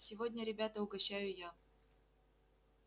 сегодня ребята угощаю я